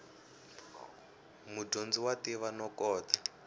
mudyondzi wa tiva no kota